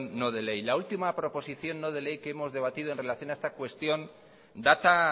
no de ley la última proposición no de ley que hemos rebatido en relación a esta cuestión data